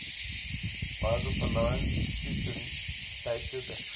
biographer lawrence sutin stated that crowley